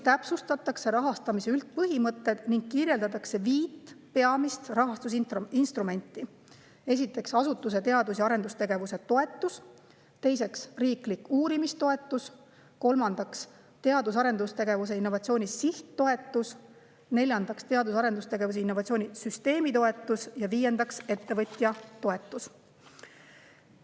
Täpsustatakse rahastamise üldpõhimõtteid ning kirjeldatakse viit peamist rahastusinstrumenti: esiteks, asutuse teadus‑ ja arendustegevuse toetus; teiseks, riiklik uurimistoetus; kolmandaks, teadus‑ ja arendustegevuse ning innovatsiooni sihttoetus; neljandaks, teadus‑ ja arendustegevuse ning innovatsiooni süsteemitoetus; ja viiendaks, ettevõtja toetus.